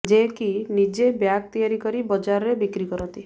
ଯେ କି ନିଜେ ବ୍ୟାଗ ତିଆରି କରି ବଜାରରେ ବିକ୍ରି କରନ୍ତି